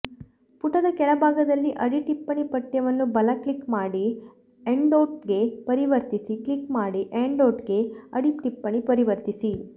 ಪುಟದ ಕೆಳಭಾಗದಲ್ಲಿ ಅಡಿಟಿಪ್ಪಣಿ ಪಠ್ಯವನ್ನು ಬಲ ಕ್ಲಿಕ್ ಮಾಡಿ ಎಂಡ್ನೋಟ್ಗೆ ಪರಿವರ್ತಿಸಿ ಕ್ಲಿಕ್ ಮಾಡಿ ಎಡ್ನೋಟ್ಗೆ ಅಡಿಟಿಪ್ಪಣಿ ಪರಿವರ್ತಿಸಿ